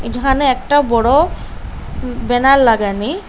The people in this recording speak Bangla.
যেখানে একটা বড় উম ব্যানার লাগানি।